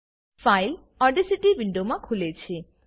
file Audacity વિન્ડોમાં ખુલે છે